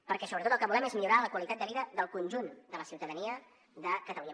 perquè sobretot el que volem és millorar la qualitat de vida del conjunt de la ciutadania de catalunya